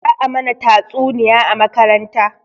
Za a mana tatsuniya a makaranta